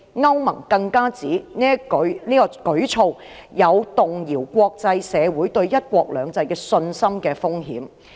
歐盟更指此舉有動搖國際社會對香港"一國兩制"信心的風險。